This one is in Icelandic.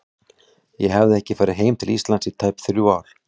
Ég hafði ekki farið heim til Íslands í tæp þrjú ár.